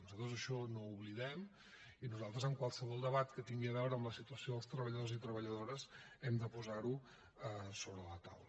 nosaltres això no ho oblidem i nosaltres en qualsevol debat que tingui a veure amb la situació dels treballadors i treballadores hem de posar ho a sobre la taula